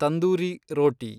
tandoori ರೋಟಿ